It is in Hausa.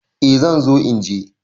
Eh zan zo inje.